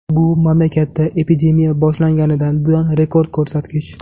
Bu mamlakatda epidemiya boshlanganidan buyon rekord ko‘rsatkich.